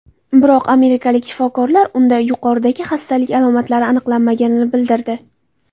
Biroq amerikalik shifokorlar unda yuqoridagi xastalik alomatlarini aniqlamaganligini bildirdi.